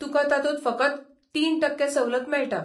तुकां तातूंत फकत तीन टक्के सवलत मेळटा.